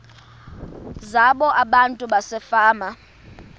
zabo abantu basefama